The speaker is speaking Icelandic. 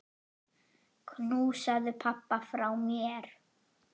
Knúsaðu pabba frá mér.